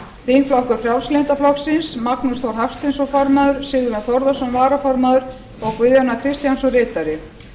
þingflokkur frjálslynda flokksins magnús þór hafsteinsson formaður sigurjón þórðarson varaformaður og guðjón a kristjánsson ritari